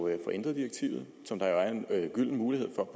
ændret som der jo er en gylden mulighed for